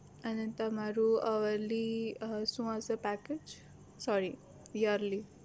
અને તમારું hourly શું હશે package sorry yearly